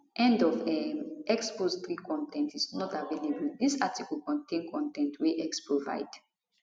end of um x post 3 con ten t is not available dis article contain con ten t wey x provide